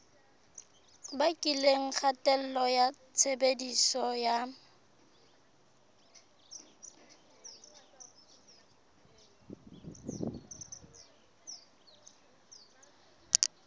bakileng kgatello ya tshebediso ya